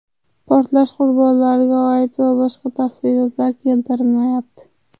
Portlash qurbonlariga oid va boshqa tafsilotlar keltirilmayapti.